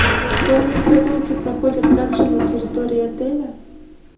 конные прогулки проходят также на территории отеля